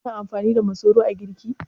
Kina amfani da masoro a girki?